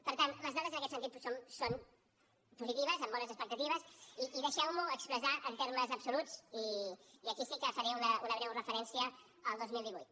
per tant les dades en aquest sentit són positives amb bones expectatives i deixeu m’ho expressar en termes absoluts i aquí sí que faré una breu referència al dos mil divuit